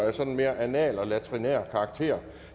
af sådan mere anal og latrinær karakter